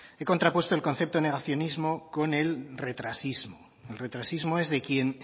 he contrapuesto el concepto de negacionismo con el retrasismo el retrasismo es de quien